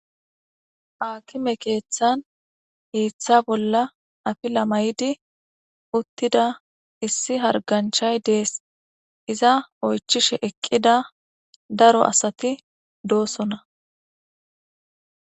akime keeththan iiththa bolla afi lamaydi uttida issi harganchay dees iza oychishe eqqida daro asati doosona